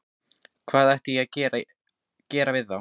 Hvað ætti ég að gera við þá?